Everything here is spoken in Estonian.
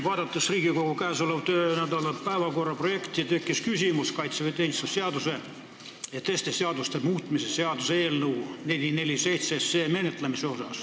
Vaadates Riigikogu käesoleva töönädala päevakorra projekti, tekkis mul küsimus kaitseväeteenistuse seaduse ja teiste seaduste muutmise seaduse eelnõu 447 menetlemise kohta.